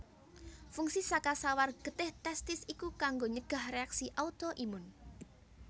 Fungsi saka sawar getih testis iku kanggo nyegah réaksi auto imun